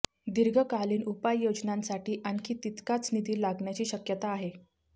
दीर्घकालीन उपाययोजनांसाठी आणखी तितकाच निधी लागण्याची शक्यता आहे